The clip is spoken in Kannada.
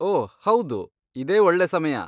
ಓಹ್ ಹೌದು, ಇದೇ ಒಳ್ಳೆ ಸಮಯ.